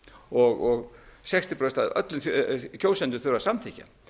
og sextíu prósent af öllum kjósendum þurfa að samþykkja